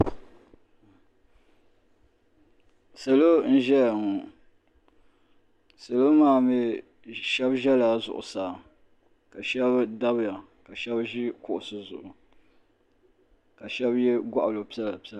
Salo n ʒɛya ŋɔ salo maa mee sheba zala zuɣusaa ka sheba dabiya sheba ʒi kuɣusi zuɣu ka sheba ye goɣali piɛla piɛla.